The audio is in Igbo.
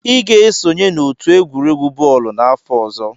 Ị ga-esonye n'otu egwuregwu bọọlụ n'afọ ọzọ!